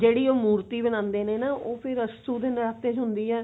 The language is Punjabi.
ਜਿਹੜੀ ਉਹ ਮੂਰਤੀ ਬਣਾਉਂਦੇ ਨੇ ਨਾ ਉਹ ਫ਼ੇਰ ਅੱਸੂ ਦੇ ਨਰਾਤੇ ਚ ਹੁੰਦੀ ਏ